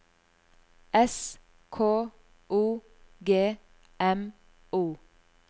S K O G M O